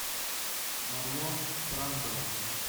марлон брандо